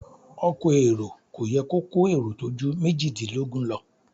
Ọkọ̀ èrò kò yẹ kó kó èrò tó ju méjìdínlógún lọ.